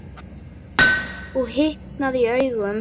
Og hitnaði í augum.